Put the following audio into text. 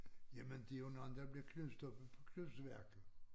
Jamen det jo nogle der blev knust oppe på knuseværket